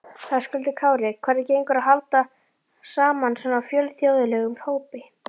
Höskuldur Kári: Hvernig gengur að halda saman svona fjölþjóðlegum hópi?